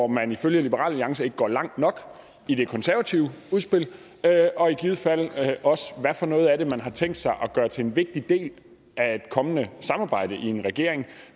man ifølge liberal alliance ikke går langt nok i det konservative udspil og i givet fald også hvad for noget af det man har tænkt sig at gøre til en vigtig del af et kommende samarbejde i en regering